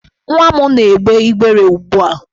Nwa m na-egbe igbere ugbu a.